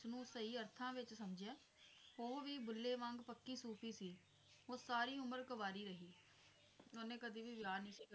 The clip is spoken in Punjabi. ਉਸਨੂੰ ਸਹੀ ਅਰਥਾਂ ਵਿੱਚ ਸਮਝਿਆ ਉਹ ਵੀ ਬੁੱਲੇ ਵਾਂਗ ਪੱਕੀ ਸੂਫ਼ੀ ਸੀ ਉਹ ਸਾਰੀ ਉਮਰ ਕੁਆਰੀ ਰਹੀ, ਉਹਨੇ ਕਦੇ ਵੀ ਵਿਆਹ ਨੀ